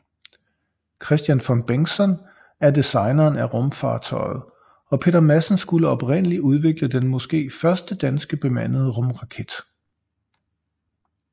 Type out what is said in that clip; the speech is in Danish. Kristian von Bengtson er designeren af rumfartøjet og Peter Madsen skulle oprindelig udvikle den måske første danske bemandede rumraket